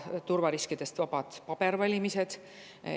Turvariskidest vabad ei ole ka pabervalimised.